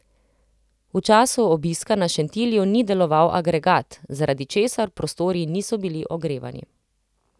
V času obiska na Šentilju ni deloval agregat, zaradi česar prostori niso bili ogrevani.